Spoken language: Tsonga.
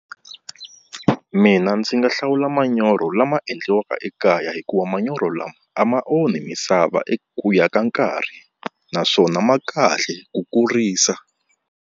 Mina ndzi nga hlawula manyoro lama endliwaka ekaya hikuva manyoro lama a ma onhi misava eku ya ka nkarhi naswona ma kahle ku kurisa.